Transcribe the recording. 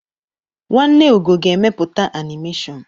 Nwanne Ugo ga-emepụta anịmeshọn.